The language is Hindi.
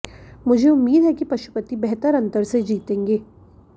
मुझे उम्मीद है कि पशुपति बेहतर अंतर से जीतेंगे